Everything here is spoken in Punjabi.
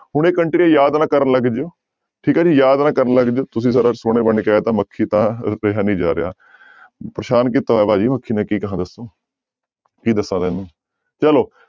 ਹੁਣ ਇਹ ਕੰਟਰੀਆਂ ਯਾਦ ਨਾ ਕਰਨ ਲੱਗ ਜਾਇਓ ਠੀਕ ਹੈ ਜੀ ਯਾਦ ਨਾ ਕਰਨ ਲੱਗ ਜਾਇਓ, ਤੁਸੀਂ ਸਰ ਸੋਹਣੇ ਬਣਕੇ ਆਇਆ ਤਾਂ ਮੱਖੀ ਤਾਂ ਰੁੱਕਿਆ ਨੀ ਜਾ ਰਿਹਾ ਪਰੇਸਾਨ ਕੀਤਾ ਹੋਇਆ ਭਾਜੀ ਮੱਖੀ ਨੇ ਕੀ ਕਹਾਂ ਦੱਸੋ ਕੀ ਦੱਸਾਂ ਤੈਨੂੰ ਚਲੋ।